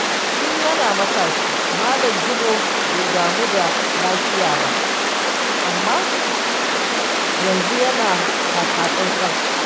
Tun yana matashi, Malam Jibo bai damu da lafiya ba, amma yanzu yana taka tsantsan.